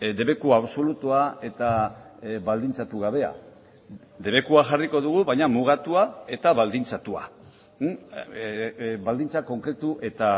debeku absolutua eta baldintzatu gabea debekua jarriko dugu baina mugatua eta baldintzatua baldintza konkretu eta